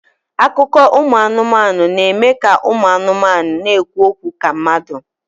Akụkọ ụmụ anụmanụ na-eme ka ụmụ anụmanụ na-ekwu okwu ka mmadụ